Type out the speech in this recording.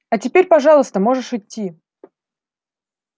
а теперь пожалуйста можешь идти